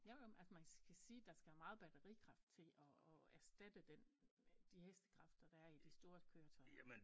Jo jo men altså man kan sige der skal meget batterikraft til at at erstatte den de hestekræfter der er i de store køretøjer